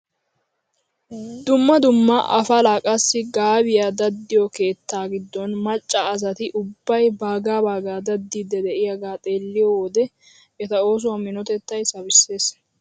Dumma dumma apalaa qassi gaabiyaa daddiyoo keettaa giddon macca asati ubbay bagaa bagaa daddiidi de'iyaagaa xeelliyoo wode eta oosuwaa minotettay sabissees!